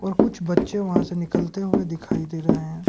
कुछ बच्चे वहां से निकलते हुए दिखाई दे रहे हैं।